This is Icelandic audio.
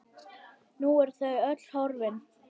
Nú eru þau öll horfin.